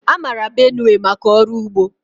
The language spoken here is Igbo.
A mara Benue maka ọrụ ugbo.